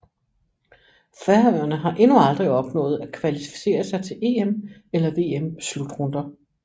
Færøerne har endnu aldrig opnået at kvalificere sig til EM eller VM slutrunder